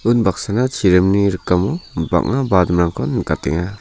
un baksana chiringni rikamo banga nikatenga.